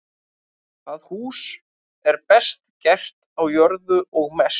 Það hús er best gert á jörðu og mest.